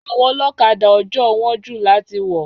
Àwọn Olókadà ojoo wón jù láti wò